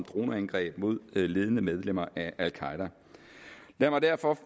droneangreb mod ledende medlemmer af al qaeda lad mig derfor